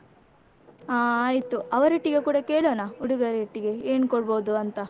ಹ ಆಯ್ತು, ಅವರೊಟ್ಟಿಗೆ ಕೂಡ ಕೇಳೋಣ, ಹುಡುಗರೊಟ್ಟಿಗೆ ಏನು ಕೊಡ್ಬೋದು ಅಂತ.